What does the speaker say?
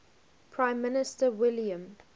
prime minister william